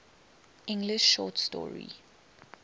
english short story